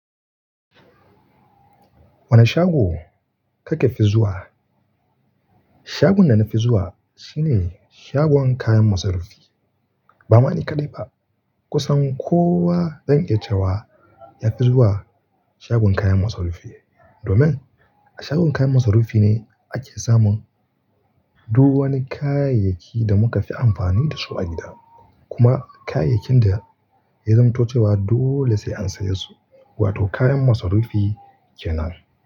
Wane shago kake fi zuwa? Shagon da na fi zuwa shine shagon kayan masarufi. Ba ma ni kaɗai ba, kusan kowa zan iya cewa ya fi zuwa shagon kayan masarufi. Domin a shagon kayan masarufi ne ake samun duk wani kayayyaki da muka fi amfani da su a gida. Kuma kayayyakin da ya zamanto cewa dole sai an saya su, wato kayan masarufi kenan.